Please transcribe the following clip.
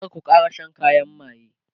kar ku Kara Shan kayan maye!